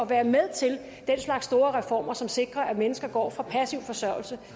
være med til den slags store reformer som sikrer at mennesker går fra passiv forsørgelse